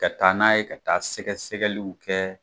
Kɛ taa n'a ye kɛ taa sɛgɛsɛgɛliw kɛ.